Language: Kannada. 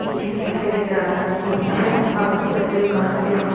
ಈ ಚಿತ್ರ ತೆಗೆದ ಸನ್ನಿವೇಶ ಹಾಗು ಚಿತ್ರದಲ್ಲಿ ಕಾಣುತ್ತಿರುವ --